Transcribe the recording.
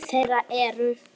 Börn þeirra eru.